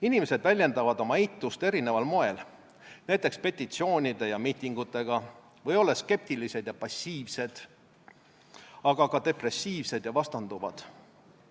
Inimesed väljendavad oma eitust erineval moel, näiteks petitsioonide ja miitingutega või olles skeptilised ja passiivsed, aga ka depressiivsed ja vastanduvad.